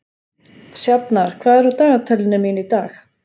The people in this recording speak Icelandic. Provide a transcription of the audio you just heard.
Sjafnar, hvað er á dagatalinu mínu í dag?